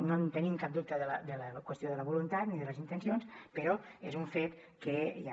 no en tenim cap dubte de la qüestió de la voluntat ni de les intencions però és un fet que hi ha